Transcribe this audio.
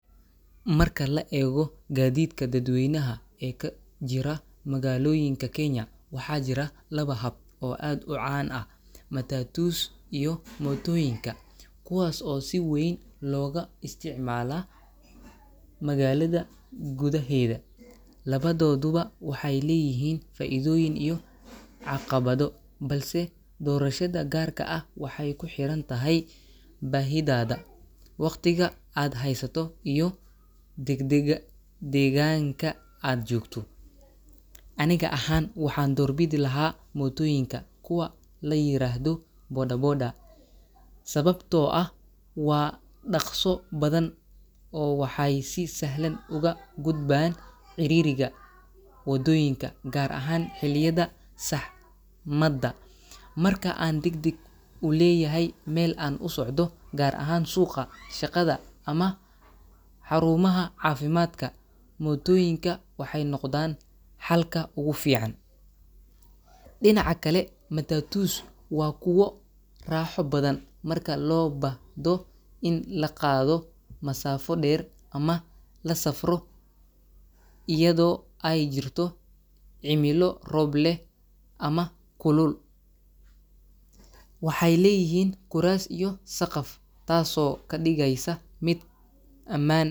Marka la eego gaadiidka dadweynaha ee ka jira magaalooyinka Kenya, waxaa jira laba hab oo aad u caan ah: matatus iyo mootooyinka, kuwaas oo si weyn looga isticmaala magaalada gudaheeda. Labadooduba waxay leeyihiin faa’iidooyin iyo caqabado, balse doorashada gaarka ah waxay ku xiran tahay baahidaada, waqtiga aad haysato, iyo degdega deegaanka aad joogto. Aniga ahaan, waxaan doorbidi lahaa mootooyinka – kuwa la yiraahdo boda boda – sababtoo ah waa dhakhso badan oo waxay si sahlan uga gudbaan ciriiriga waddooyinka, gaar ahaan xilliyada saxmadda. Marka aan degdeg u leeyahay meel aan u socdo, gaar ahaan suuqa, shaqada, ama xarumaha caafimaadka, mootooyinka waxay noqdaan xalka ugu fiican. Dhinaca kale, matatus waa kuwo raaxo badan marka loo baahdo in la qaado masaafo dheer ama la safro iyadoo ay jirto cimilo roob leh ama kulul. Waxay leeyihiin kuraas iyo saqaf, taasoo ka dhigaysa mid ammaan.